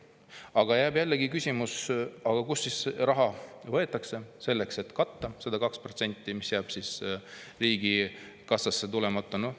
Aga jääb jällegi küsimus, kust võetakse raha selleks, et katta seda 2%, mis jääb riigikassasse tulemata.